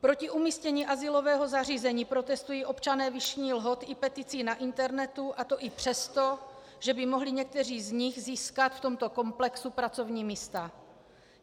Proti umístění azylového zařízení protestují občané Vyšných Lhot i peticí na internetu, a to i přesto, že by mohli někteří z nich získat v tomto komplexu pracovní místa.